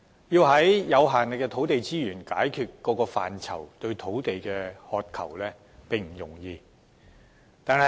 以有限的土地資源，解決各個範疇對土地的需求，並非易事。